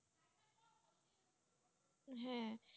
হ্যাঁ